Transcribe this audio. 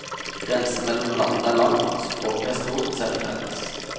Grensen mellom landene er lang, språket er stort sett felles.